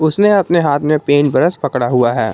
उसने अपने हाथ में पेंट ब्रश पकड़ा हुआ है।